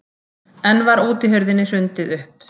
Enn var útihurðinni hrundið upp.